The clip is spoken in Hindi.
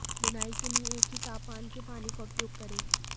बुनाई के लिए एक ही तापमान के पानी का उपयोग करें